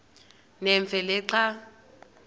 nemfe le xa